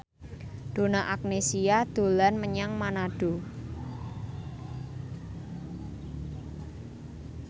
Donna Agnesia dolan menyang Manado